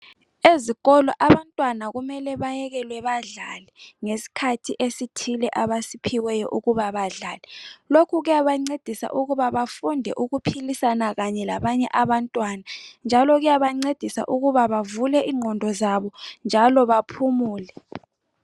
Ezikolo abantwana kumele bayekelwe badlale ngesikhathi esithile abasiphiweyo ukuba badlale lokhu kuyabancedisa ukuba bafunde ukuphilisana kanye labanye abantwana njalo kuyabancedisa ukuba bavule ingqondo zabo njalo baphumule .